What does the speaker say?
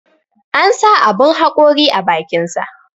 An sa aɓun haƙori a bakinsa.